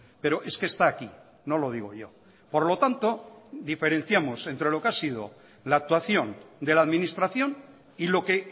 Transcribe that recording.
pero es que está aquí no lo digo yo por lo tanto diferenciamos entre lo que ha sido la actuación de la administración y lo que